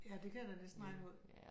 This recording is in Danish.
Ja det kan jeg da næsten regne ud